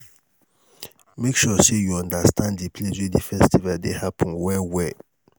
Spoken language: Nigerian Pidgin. make sure say you understand the place wey the festival de happen well well